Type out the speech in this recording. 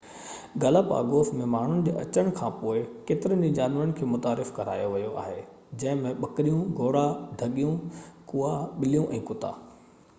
Galapagos ۾ ماڻهو جي اچڻ کانپوءِ ڪيترن ئي جانور کي متعارف ڪرايو ويو آهي جنهن ۾ ٻڪريون گهوڙا ڍڳيون ڪئا ٻليون ۽ ڪتا